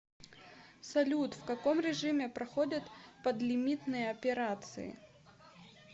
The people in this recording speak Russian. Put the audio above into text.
салют в каком режиме проходят подлимитные операции